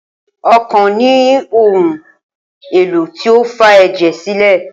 Okan ni ohun elo ti o fa ẹjẹ silẹ.